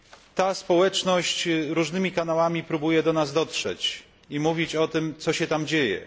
Ta społeczność różnymi kanałami próbuje do nas dotrzeć i mówić o tym, co się tam dzieje.